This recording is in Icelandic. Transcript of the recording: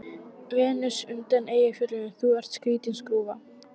Venus undan Eyjafjöllum: Þú ert skrýtin skrúfa.